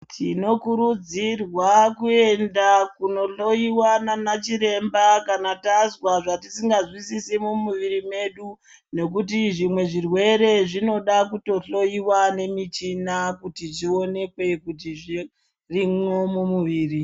Tinokurudzirwa kuenda kundohloyiwa naanachiremba kana tazwa zvatisingazwisisi mumwiri medu nokuti zvimwe zvirwere zvinoda kutohloyiwa ngemichina kuti zvionekwe kuti zvirimwo mumuviri.